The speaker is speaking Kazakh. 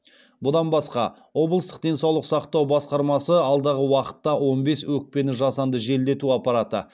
бұдан басқа облыстық денсаулық сақтау басқармасы алдағы уақытта он бес өкпені жасанды желдету аппараты